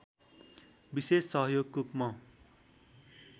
विशेष सहयोगको म